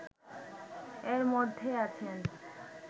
এর মধ্যে আছেন